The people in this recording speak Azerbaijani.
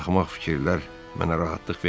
Axmaq fikirlər mənə rahatlıq vermir.